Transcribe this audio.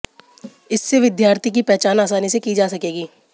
इससे विद्यार्थी की पहचान आसानी से की जा सकेगी